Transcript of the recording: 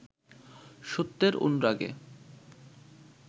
সত্যের অনুরাগে